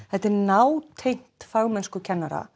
þetta er nátengt fagmennsku kennara